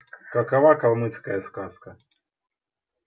какова калмыцкая сказка